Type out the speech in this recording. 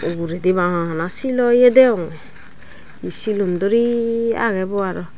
eh uguredi bana sileyo degonge hi silun duri agey bo arow.